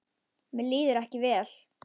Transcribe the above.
Mér líður ekki vel.